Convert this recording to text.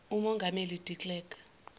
umongameli de klerk